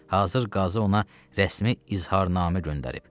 Hazır qazı ona rəsmi izharnamə göndərib.